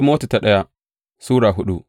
daya Timoti Sura hudu